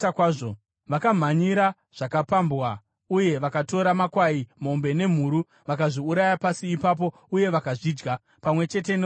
Vakamhanyira zvakapambwa, uye vakatora makwai, mombe nemhuru, vakazviuraya pasi ipapo uye vakazvidya, pamwe chete neropa razvo.